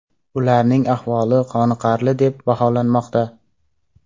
Ularning ahvoli qoniqarli deb baholanmoqda.